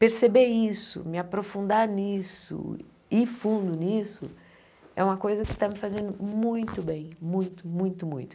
perceber isso, me aprofundar nisso, ir fundo nisso, é uma coisa que está me fazendo muito bem, muito, muito, muito.